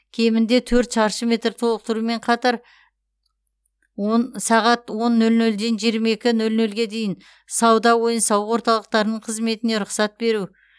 кемінде төрт шаршы метр толықтырумен қатар он сағат он нөл нөлден жиырма екі нөл нөлге дейін сауда ойын сауық орталықтарының қызметіне рұқсат беру